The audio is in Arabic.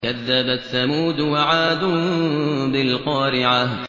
كَذَّبَتْ ثَمُودُ وَعَادٌ بِالْقَارِعَةِ